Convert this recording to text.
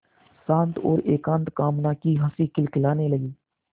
शांत और एकांत कामना की हँसी खिलखिलाने लगी